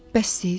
Bəs siz?